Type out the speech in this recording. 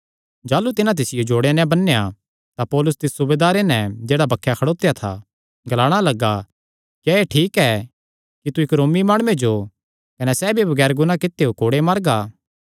जाह़लू तिन्हां तिसियो जोड़ेयां नैं बन्नेया तां पौलुस तिस सूबेदारे नैं जेह्ड़ा बक्खे खड़ोत्या था ग्लाणा लग्गा क्या एह़ ठीक ऐ कि तू इक्क रोमी माणुये जो कने सैह़ भी बगैर गुनाह कित्यो कोड़े मारगा